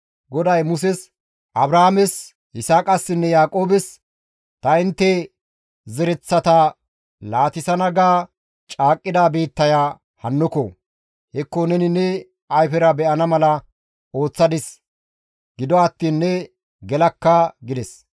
GODAY Muses, «Abraames, Yisaaqassinne Yaaqoobes, ‹Ta intte zereththata laatissana› ga caaqqida biittaya hannoko! Hekko neni ne ayfera be7ana mala ooththadis; gido attiin ne gelakka» gides.